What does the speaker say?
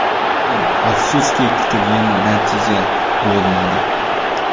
Lekin, afsuski, kutilgan natija bo‘lmadi.